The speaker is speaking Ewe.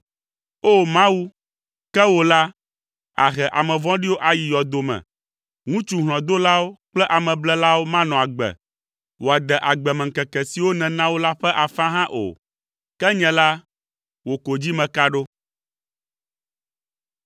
O! Mawu, ke wò la, àhe ame vɔ̃ɖiwo ayi yɔdo me. Ŋutsu hlɔ̃dolawo kple ameblelawo manɔ agbe wòade agbemeŋkeke siwo nèna wo la ƒe afã hã o. Ke nye la, wò ko dzi meka ɖo.